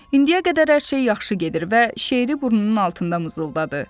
İndiyə qədər hər şey yaxşı gedir və şeiri burnunun altında mızıldadı.